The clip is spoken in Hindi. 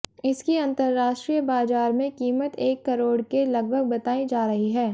इसकी अंतरराष्ट्रीय बाजार में कीमत एक करोड़ के लगभग बताई जा रही है